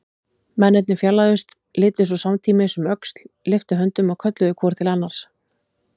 Mennirnir fjarlægðust, litu svo samtímis um öxl, lyftu höndum og kölluðu hvor til annars